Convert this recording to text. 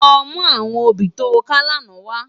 Lò mú áwòn óbì tó ká làná wá